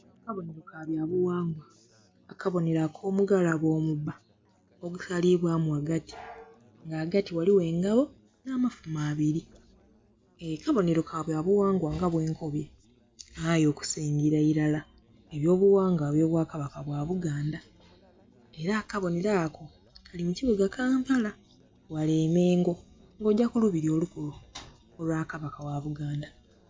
Akabonero kabyabughangwa akabonero akomugalobe omubba ogusalibwamu ghagati nga ghagati ghaligho engabo n'amafumo abiri aa akabonero kabwabughangwa nga bwenkobwe aye okusingira irala ebyobughagwa ebyo bwa kabaka bwa buganda era akabonero ako kali mukibuga kampala ghale emengo nga ogya kulubiri olukulu olwa kabaka gha buganda.